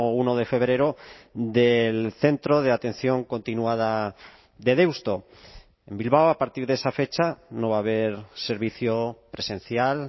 uno de febrero del centro de atención continuada de deusto en bilbao a partir de esa fecha no va a haber servicio presencial